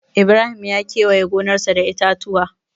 Ibrahim ya kewaye gonarsa da itatuwa.